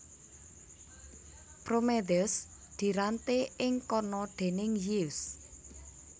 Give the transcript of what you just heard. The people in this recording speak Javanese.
Prometheus diranté ing kana déning Zeus